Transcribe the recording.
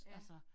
Ja